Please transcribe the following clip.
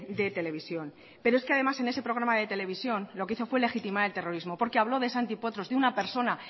de televisión pero es que además en ese programa de televisión lo que hizo fue legitimar el terrorismo porque habló de santi potros de una persona